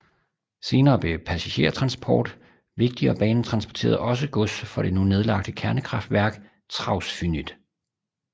Senere blev passagertransport vigtigt og banen transporterede også gods for det nu nedlagte kernekraftværk Trawsfynydd